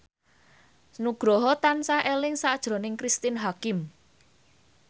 Nugroho tansah eling sakjroning Cristine Hakim